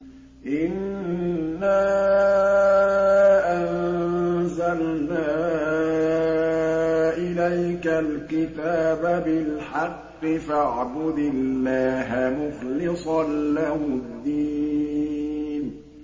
إِنَّا أَنزَلْنَا إِلَيْكَ الْكِتَابَ بِالْحَقِّ فَاعْبُدِ اللَّهَ مُخْلِصًا لَّهُ الدِّينَ